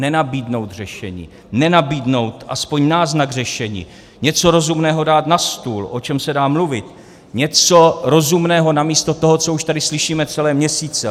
Nenabídnout řešení, nenabídnout aspoň náznak řešení, něco rozumného dát na stůl, o čem se dá mluvit, něco rozumného namísto toho, co už tady slyšíme celé měsíce.